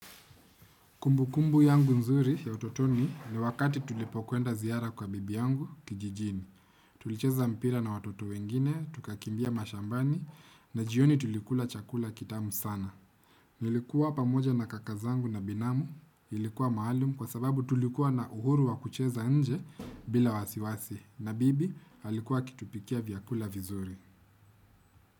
Kumbu kumbu yangu nzuri ya utotoni ni wakati tulipokwenda ziara kwa bibi yangu kijijini. Tulicheza mpira na watoto wengine, tukakimbia mashambani na jioni tulikula chakula kitamu sana. Nilikuwa pamoja na kaka zangu na binamu, ilikuwa maalum kwa sababu tulikuwa na uhuru wakucheza nje bila wasiwasi. Na bibi alikuwa akitupikia vyakula vizuri.